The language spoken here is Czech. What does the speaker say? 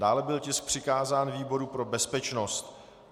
Dále byl tisk přikázán výboru pro bezpečnost.